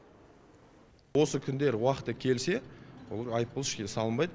осы күндері уақыты келсе олар айыппұл салынбайды